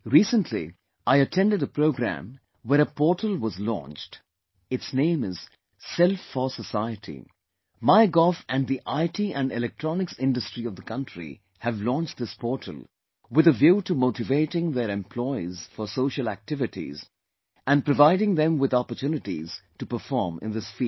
Recently, I attended a programme where a portal was launched, its name is 'Self 4 Society', MyGov and the IT and Electronics industry of the country have launched this portal with a view to motivating their employees for social activities and providing them with opportunities to perform in this field